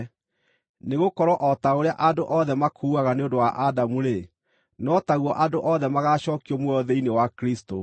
Nĩgũkorwo o ta ũrĩa andũ othe makuaga nĩ ũndũ wa Adamu-rĩ, no taguo andũ othe magaacookio muoyo thĩinĩ wa Kristũ.